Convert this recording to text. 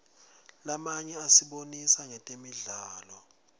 lamanye asibonisa ngetemidlalo